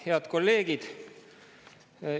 Head kolleegid!